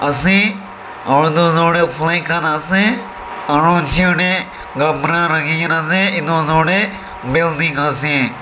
ase aro eduosor tae flag khan ase aro chair tae kapra rakhikena ase edu osor tae building ase.